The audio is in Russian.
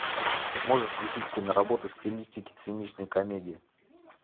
можешь включить киноработу в стилистике циничной комедии